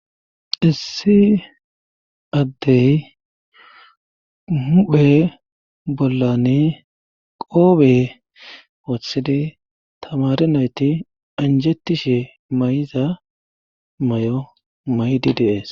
Issi addey muphe bollani qoobe wothidi tamare nayti anjetishe may'za may'o maydi dees.